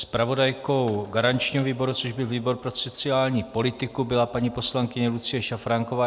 Zpravodajkou garančního výboru, což byl výbor pro sociální politiku, byla paní poslankyně Lucie Šafránková.